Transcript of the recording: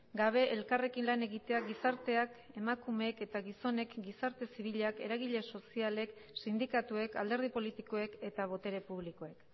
gabe elkarrekin lan egitea gizarteak emakumeek eta gizonek gizarte zibilak eragile sozialek sindikatuek alderdi politikoek eta botere publikoek